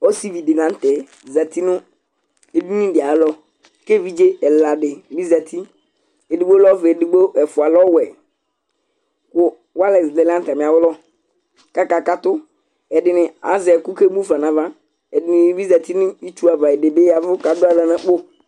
Ɔsivɩ dila nutɛ zati nu edini di ayalɔ Kevidze ɛla dibi zati ɔvɛ nolu ɛdigbo ɛfʊa lɛ ɔwɛ Ku walɛs lɛ nu atamialɔ kaka katʊ Ɛdini aze eku kemufa nava Ɛdinibi zati nitsua ava, ɛdibi yavʊ kaduawla nakpo